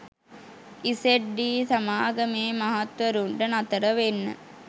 ඉසෙඞ් D සමාගමේ මහත්වරුන්ට නතර වෙන්න